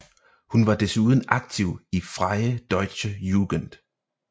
Hun var desuden aktiv i Freie Deutsche Jugend